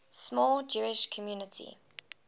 small jewish community